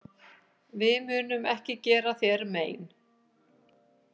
Við munum ekki gera þér mein.